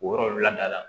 O yɔrɔ lada la